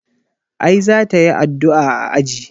A'i za ta yi addu'a a aji.